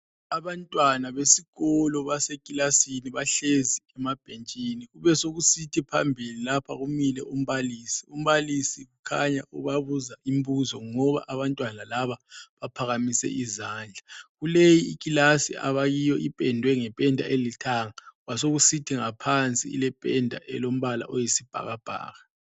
Abantwana besikolo basekilasini bahlezi emabhentshini kube sekusethi phambili lapha kumile umbalisi, umbalisi kukhanya ubabuza imbuzo ngoba Abantwana laba paphakamise izandla ,kuleyi ikilasi abakiyo ipendwe ngependa elithanga kwasekusithi ngaphansi ilependa olombala oyisibhakabhaka